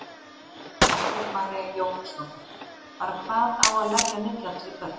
Margrét María Jóhannsdóttir: Bara hvað á að leggja mikið á þessi börn?